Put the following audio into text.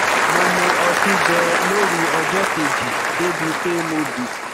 mo mu ọtí ganan lóru ọjọ kejì débi pé mo bì